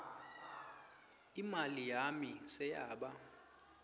imali yami seyaba